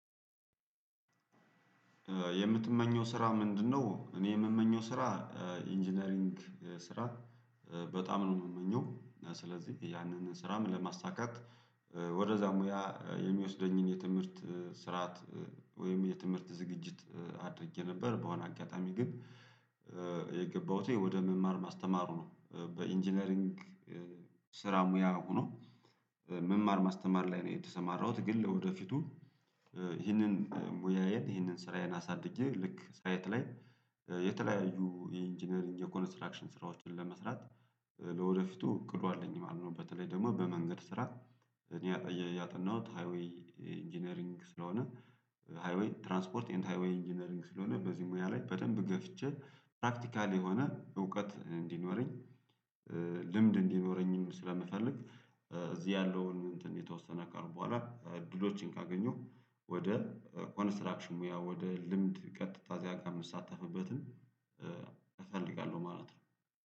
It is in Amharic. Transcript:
የምትመኘው ስራ ምንድነው? እኔ የምመኘው ስራ ኢንጂነሪንግ ስራ በጣም ነው የምመኘው። ስለዚህ ያንን ስራም ለማሳካት ወደዛ ሙያ የሚወስደኝን የትምህርት ስርዓት ወይም የትምህርት ዝግጅት አድርጌ ነበር። በሆነ አጋጣሚ ግን የገባሁት ወደ መማር ማስተማሩ ነው በኢንጂነሪንግ ስራ ሙያ ሆኖ መማር ማስተማር ላይ ነው የተሰማራሁት። ግን ለወደፊቱ ይህንን ሙያዬን ይህንን ስራዬን አሳድጌ ልክ ሳይት ላይ የተለያዩ የኢንጂነሪንግ የኮንስትራክሽን ስራዎችን ለመስራት ለወደፊቱ እቅዱ አለኝ ማለት ነው። በተለይ ደግሞ በመንገድ ስራ እኔ ያጠናሁት ሃይዌይ ኢንጂነሪንግ ስለሆነ ሃይዌይ ትራንስፖርት ኤንድ ሃይዌይ ኢንጂነሪንግ ስለሆነ በዚህ ሙያ ላይ በደንብ ገፍቼ ፕራክቲካል የሆነ እውቀት እንዲኖረኝ ልምድ እንዲኖረኝም ስለምፈልግ። እዚህ ያለውን እንትን የተወሰነ አካል በኋላ እድሎችን ካገኘሁ ወደ ኮንስትራክሽን ሙያ ወደ ልምድ ቀጥታ ከዚያ ጋር የምሳተፍበትን እፈልጋለሁ ማለት ነው